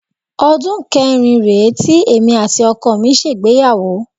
Ọdún kẹrin rèé tí èmi àti ọkọ mi ṣègbéyàwó